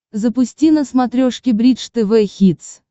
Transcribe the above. запусти на смотрешке бридж тв хитс